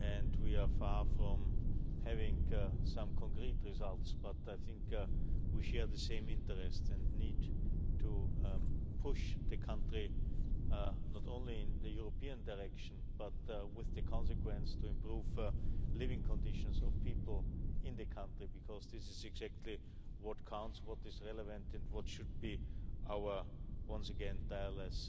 We are far from having some concrete results but I think we share the same interests and need to push the country, not only in the European direction, but with the consequence to improve living conditions of people in the country, because this is exactly what counts, what is relevant and what should be our once again tireless